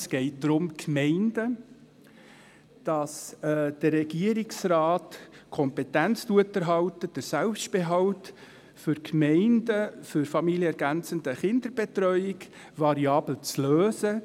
Es geht um Gemeinden, darum, dass der Regierungsrat die Kompetenz erhält, den Selbstbehalt der Gemeinden für familienergänzende Kinderbetreuung variabel zu lösen.